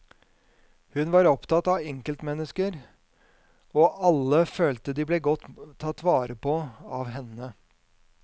Hun var opptatt av enkeltmennesker, og alle følte de ble godt tatt vare på av henne.